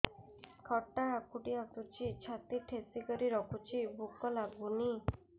ଖଟା ହାକୁଟି ଆସୁଛି ଛାତି ଠେସିକରି ରଖୁଛି ଭୁକ ଲାଗୁନି